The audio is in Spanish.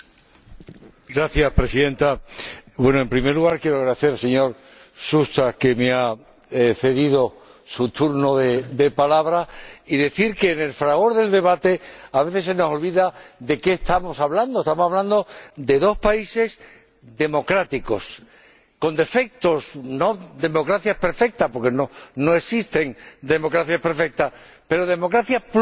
Señora Presidenta, en primer lugar, quiero agradecer al señor Susta que me haya cedido su turno de palabra y decir que en el fragor del debate a veces se nos olvida de qué estamos hablando estamos hablando de dos países democráticos —con defectos, no son democracias perfectas, porque no existen las democracias perfectas, pero sí son democracias pluralistas—.